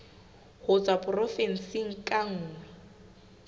ho tswa porofensing ka nngwe